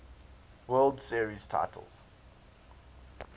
world series titles